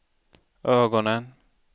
ögonen